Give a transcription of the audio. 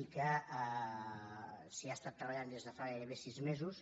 i que s’hi ha estat treballant des de fa gairebé sis mesos